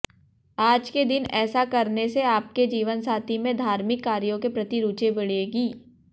आज के दिन ऐसा करने से आपके जीवनसाथी में धार्मिक कार्यों के प्रति रुचि बढ़ेगी